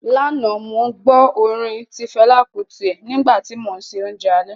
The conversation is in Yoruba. Lánàá, mo gbó tí orin Fẹlá Kútì nígbà tí mò ń se oúnjẹ alẹ́